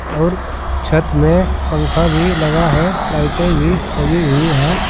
और छत में पंखा भी लगा है लाइटें भी लगी हुई है।